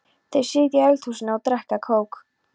Þær sitja í eldhúsinu og drekka kók.